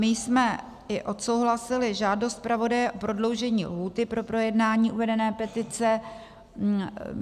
My jsme i odsouhlasili žádost zpravodaje o prodloužení lhůty pro projednání uvedené petice.